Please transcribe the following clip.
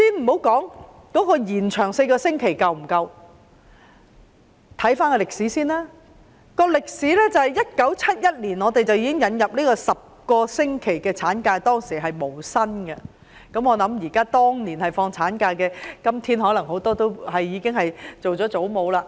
我先不論延長產假4個星期是否足夠，回顧我們的歷史，香港在1971年引入10個星期無薪產假，當年放產假的婦女今天可能已經當上祖母了。